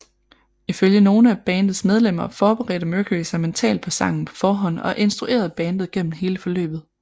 Ifølge nogle af bandets medlemmer forberedte Mercury sig mentalt på sangen på forhånd og instruerede bandet gennem hele forløbet